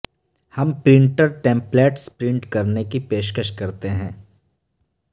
ہم printer templates print کرنے کی پیشکش کرتے ہیں